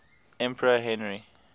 emperor henry